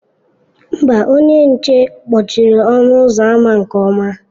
Mba, onye nche kpọchiri ọnụ ụzọ ámá nke ọma.